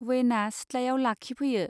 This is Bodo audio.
वैन आ सिथ्लायाव लाखिफैयो